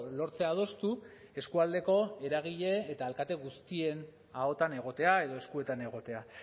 lortzea adostu eskualdeko eragile eta alkate guztien ahotan egotea edo eskuetan egotea